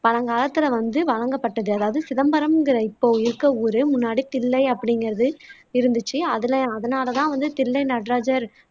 பழங்காலத்துல வந்து வழங்கப்பட்டது அதாவது சிதம்பரங்குற இப்போ இருக்க ஊரு முன்னாடி தில்லை அப்படிங்குறது இருந்துச்சு அதுல அதனால தான் வந்து தில்லை நடராஜர்